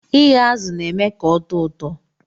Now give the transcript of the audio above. Ighe azu na eme ka ọtọ ụtọ.